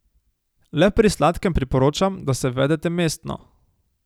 Le pri sladkem priporočam, da se vedete mestno ...